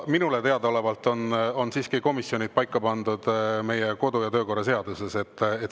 Minule teadaolevalt on siiski komisjonid paika pandud meie kodu- ja töökorra seaduses.